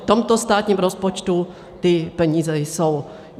V tomto státním rozpočtu ty peníze jsou.